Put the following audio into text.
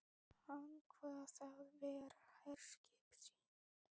Hann kvað það vera herskip sín.